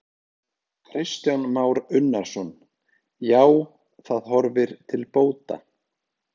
Kristján Már Unnarsson: Já, það horfir til bóta?